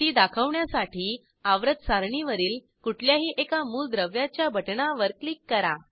ती दाखवण्यासाठी आवर्त सारणीवरील कुठल्याही एका मूलद्रव्याच्या बटणावर क्लिक करा